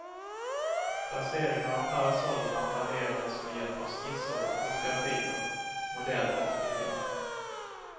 Placeringen av parasollerna planerades med hjälp av skisser och fotografier, modeller och diagram.